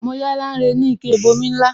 Mo yá Lanre ni ike ìbomi ńlá